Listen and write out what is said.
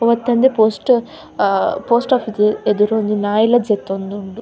ಅವತ್ತಂದೆ post ah post ಓಫೀಸ್ದ ಎದುರು ಒಂಜಿ ನಾಯಿಲ ಜೆತ್ತೊಂದುಂಡು.